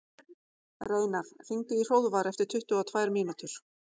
Reynar, hringdu í Hróðvar eftir tuttugu og tvær mínútur.